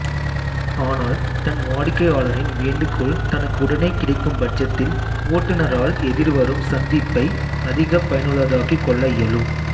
ஆனால் தன் வாடிக்கையாளரின் வேண்டுகோள் தனக்கு உடனே கிடைக்கும் பட்சத்தில் ஓட்டுனரால் எதிர்வரும் சந்திப்பை அதிகப் பயனுள்ளதாக்கிக் கொள்ள இயலும்